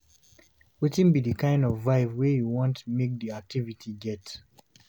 wetin be di kind of vibe wey you want make di activity get